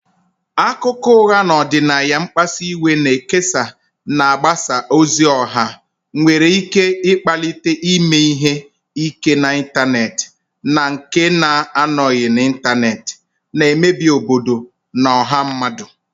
Akụkọ ụgha na ọdịnaya mkpasu iwe na-ekesa na mgbasa ozi ọha nwere ike ịkpalite ime ihe ike n'ịntanetị na nke na-anọghị n'ịntanetị, na-emebi obodo na ọha mmadụ.